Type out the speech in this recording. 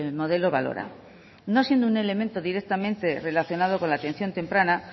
modelo balora no siendo un elemento directamente relacionado con la atención temprana